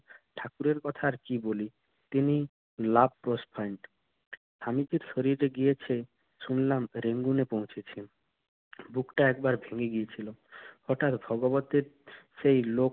ঠাকুরের কথা আর কি বলি, তিনি love স্বামীজি গিয়েছে শুনলাম রেঙ্গুনে পৌঁছেছেন। বুকটা একবারে ভেঙ্গে গিয়েছিল। হঠাৎ ভগবতের সেই লোক